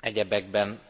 Egyebekben